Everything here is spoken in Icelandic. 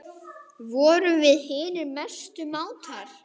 Vorum við hinir mestu mátar.